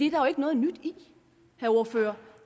jo ikke noget nyt i